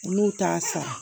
Olu t'a sara